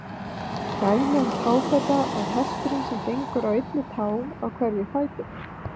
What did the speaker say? Dæmi um táfeta er hesturinn sem gengur á einni tá á hverjum fæti.